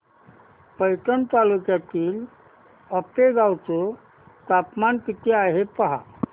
पैठण तालुक्यातील आपेगाव चं तापमान किती आहे पहा